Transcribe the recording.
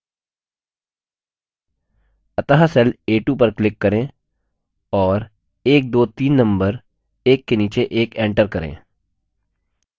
अतः cell a2 पर click करें और 123 नम्बर एक के नीचे एक enter करें